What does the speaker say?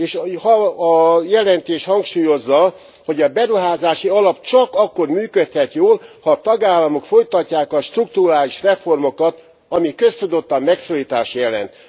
És ha a jelentés hangsúlyozza, hogy a beruházási alap csak akkor működhet jól, ha a tagállamok folytatják a strukturális reformokat, ami köztudottan megszorítást jelent.